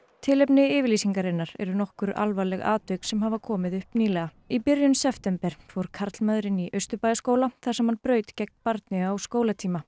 tilefni yfirlýsingarinnar eru nokkur alvarleg tilvik sem hafa komið upp nýlega í byrjun september fór karlmaður inn í Austurbæjarskóla þar sem hann braut gegn barni á skólatíma